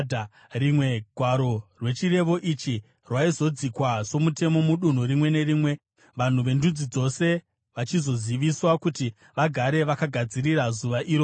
Rimwe gwaro rechirevo ichi raizodzikwa somutemo mudunhu rimwe nerimwe, vanhu vendudzi dzose vachizoziviswa kuti vagare vakagadzirira zuva iroro.